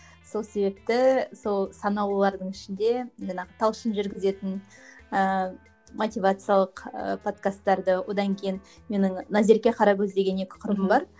сол себепті сол санаулылардың ішінде мен ы талшын жүргізетін ыыы мотивациялық ы подкастарды одан кейін менің назерке қаракөз деген екі құрбым бар